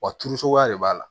Wa turu suguya de b'a la